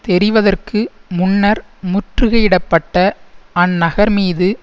தெரிவதற்கு முன்னர் முற்றுகையிடப்பட்ட அந்நகர் மீது